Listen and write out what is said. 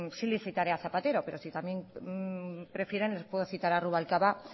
sí le citaré a zapatero pero si también prefieren les puedo citar a rubalcaba